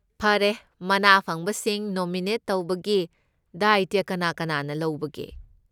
ꯐꯔꯦ, ꯃꯅꯥ ꯐꯪꯕꯁꯤꯡ ꯅꯣꯃꯤꯅꯦꯠ ꯇꯧꯕꯒꯤ ꯗꯥꯏꯇ꯭ꯌ ꯀꯅꯥ ꯀꯅꯥꯅ ꯂꯧꯕꯒꯦ?